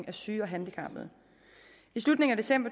af syge og handicappede i slutningen af december